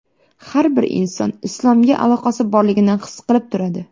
Har bir inson islomga aloqasi borligini his qilib turadi.